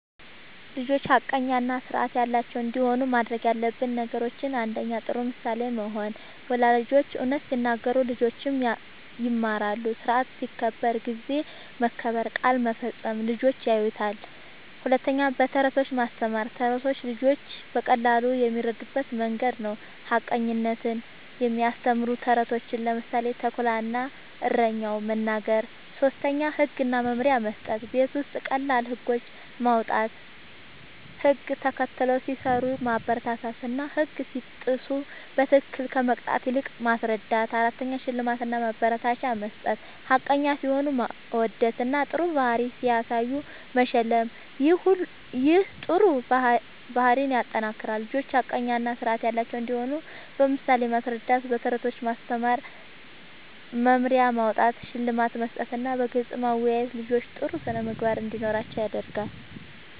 ልጆች ሐቀኛ እና ስርዓት ያላቸው እንዲሆኑ ማድረግ ያለብን ነገሮችን፦ ፩. ጥሩ ምሳሌ መሆን፦ ወላጆች እውነት ሲናገሩ ልጆችም ይማራሉ። ስርዓት ሲከበር (ጊዜ መከበር፣ ቃል መፈጸም) ልጆች ያዩታል። ፪. በተረቶች ማስተማር፦ ተረቶች ልጆች በቀላሉ የሚረዱበት መንገድ ነዉ። ሐቀኝነትን የሚያስተምሩ ተረቶችን (ምሳሌ፦ “ተኩላ እና እረኛው”) መናገር። ፫. ህግ እና መመሪያ መስጠት፦ ቤት ውስጥ ቀላል ህጎች ማዉጣት፣ ህግ ተከትለው ሲሰሩ ማበረታታትና ህግ ሲጥሱ በትክክል ከመቅጣት ይልቅ ማስረዳት ፬. ሽልማት እና ማበረታቻ መስጠት፦ ሐቀኛ ሲሆኑ ማወደስና ጥሩ ባህሪ ሲያሳዩ መሸለም ይህ ጥሩ ባህሪን ያጠናክራል። ልጆች ሐቀኛ እና ስርዓት ያላቸው እንዲሆኑ በምሳሌ ማስረዳት፣ በተረቶች ማስተማር፣ መመሪያ ማዉጣት፣ ሽልማት መስጠትና በግልጽ ማወያየት ልጆች ጥሩ ስነ ምግባር እንዲኖራቸዉ ያደርጋል